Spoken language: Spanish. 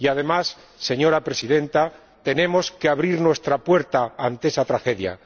Y, además, señora Presidenta, tenemos que abrir nuestra puerta ante esa tragedia.